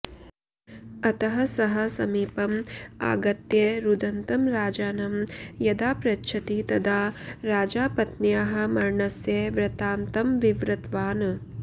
अतः सः समीपम् आगत्य रुदन्तं राजानं यदा पृच्छति तदा राजा पत्न्याः मरणस्य वृत्तान्तं विवृतवान्